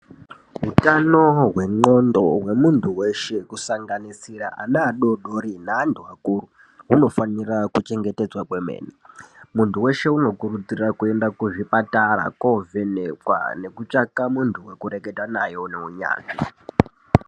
Hutano hwendxondo hwemuntu weshe kusanaganisira ana adodori neantu akuru hunofanira kuchengetedzwa kwemene. Muntu weshe unokurudzirwa kuenda kuzvipatara koovhenekwa nekutsvaka muntu wekureketa naye une unyanzvi.